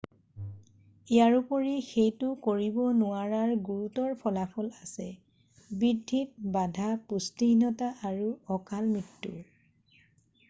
ইয়াৰোপৰি সেইটো কৰিব নোৱাৰাৰ গুৰুতৰ ফলাফল আছে বৃদ্ধিত বাধা পুষ্টিহীনতা আৰু অকাল মৃত্যু